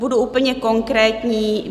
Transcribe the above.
Budu úplně konkrétní.